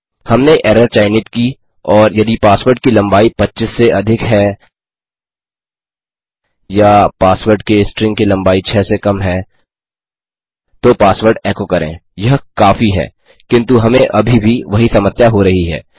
हमने एरर चयनित की और यदि पासवर्ड की लम्बाई 25 से अधिक है या पासवर्ड के स्ट्रिंग की लम्बाई 6 से कम है तो पासवर्ड एको करें यह काफी हैकिन्तु हमें अभी भी वही समस्या हो रही है